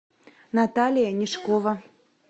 наталья нишкова